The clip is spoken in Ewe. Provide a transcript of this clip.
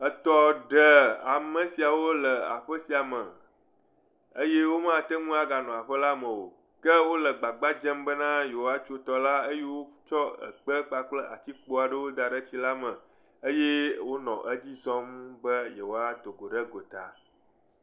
Etɔ ɖe amesiawo le aƒe sia me eye wò ma gãteŋu anɔ aƒe sia me o. Ke wòle gbagba dzem be na yewoa tso tɔ la eye wotsɔ ekpe kpakple atikpowo kɔ da ɖe etsi la me eye wonɔ etso be yewoa do go ɖe go ta.